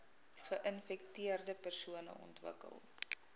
geinfekteerde persone ontwikkel